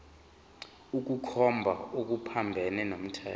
ukukhomba okuphambene nomthetho